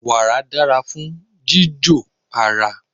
Wàrà dára fún jíjò ara.